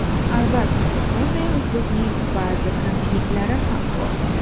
Albatta, bunday uslubning ba’zi kamchiliklari ham bor.